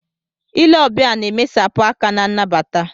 Ile ọbịa na-emesapụ aka na nnabata.